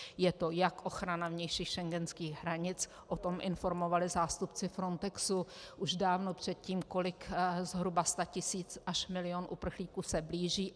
Je to jak ochrana vnějších schengenských hranic, o tom informovali zástupci Frontexu už dávno předtím, kolik zhruba set tisíc až milion uprchlíků se blíží.